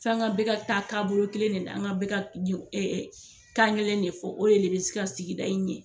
Fɛn kɛ bɛ ka taa taabolo kelen de la, an bɛ ka kelen de fɔ o de bɛ se ka sigida i ɲɛ.